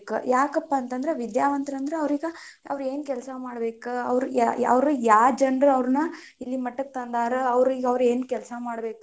ಯಾಕಪ್ಪಾ ಅಂತಂದ್ರ ವಿದ್ಯಾವಂತರ್ ಅಂದ್ರ ಅವ್ರೀಗ ಅವ್ರ್ ಏನ್ ಕೆಲಸಾ ಮಾಡ್ಬೇಕ ಅವ್ರ್ ಯಾವ ಜನರ ಅವ್ರನ್ನ ಇಲ್ಲಿಮಟ್ಟಕ್ಕ ತಂದಾರ, ಅವ್ರಿಗೇ ಅವ್ರ್ ಏನ್ ಕೆಲಸಾ ಮಾಡ್ಬೇಕ.